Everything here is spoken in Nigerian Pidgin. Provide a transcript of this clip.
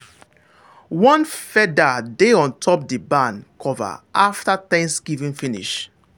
one feather dey on top the barn cover after thanksgiving finish.